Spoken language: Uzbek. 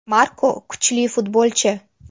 Marko kuchli futbolchi.